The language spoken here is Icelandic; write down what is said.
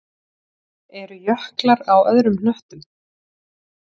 Eru jöklar á öðrum hnöttum?